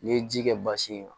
N'i ye ji kɛ basi in na